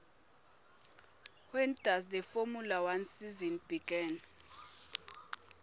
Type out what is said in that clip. when does the formula one season begin